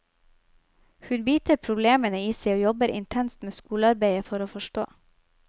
Hun biter problemene i seg og jobber intenst med skolearbeidet for å forstå.